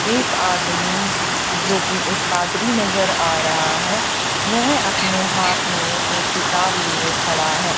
एक आदमी जोकि एक पादरी नजर आ रहा है वेह अपने हाथ में एक किताब लिए खड़ा है।